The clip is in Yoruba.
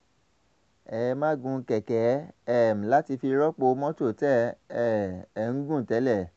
ẹ ẹ máa gun kẹ̀kẹ́ um láti fi rọ́pò mọ́tò tẹ́ um ẹ̀ ń gùn tẹ́lẹ̀